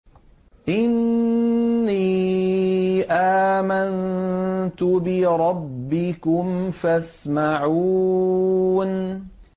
إِنِّي آمَنتُ بِرَبِّكُمْ فَاسْمَعُونِ